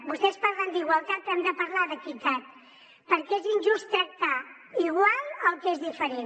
vostès parlen d’igualtat però hem de parlar d’equitat perquè és injust tractar igual el que és diferent